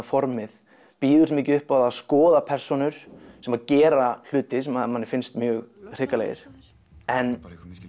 formið býður svo mikið upp á að skoða persónur sem gera hluti sem manni finnst mjög hrikalegir en